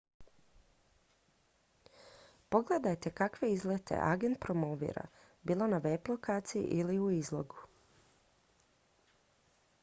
pogledajte kakve izlete agent promovira bilo na web-lokaciji ili u izlogu